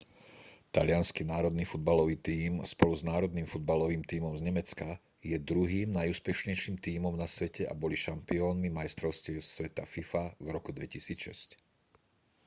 taliansky národný futbalový tím spolu s národným futbalovým tímom z nemecka je druhým najúspešnejším tímom na svete a boli šampiónmi majstrovstiev sveta fifa v roku 2006